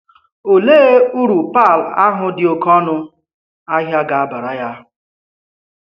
Òlee ùru pearl ahụ dị oké ọnụ ahịa ga-abàrà ya?